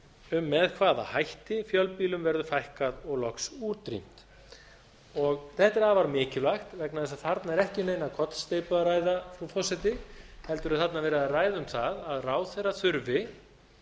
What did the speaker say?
um með hvaða hætti fjölbýlum verði fækkað og loks útrýmt þetta er afar mikilvægt vegna þess að þarna er ekki um neina kollsteypu að ræða frú forseti heldur er þarna verið að ræða um það að ráðherra þurfi